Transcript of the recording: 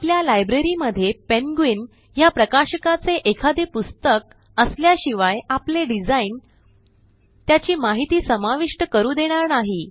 आपल्या लायब्ररी मध्ये पेंग्विन ह्या प्रकाशकाचे एखादे पुस्तक असल्याशिवाय आपले डिझाइन त्याची माहिती समाविष्ट करू देणार नाही